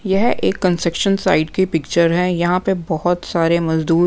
यह एक construction site की पिक्चर हैं यहाँ पे बहुत सारे मजदूर--